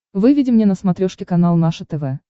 выведи мне на смотрешке канал наше тв